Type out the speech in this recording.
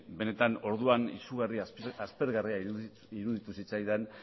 benetan orduan izugarri aspergarria iruditu zitzaidan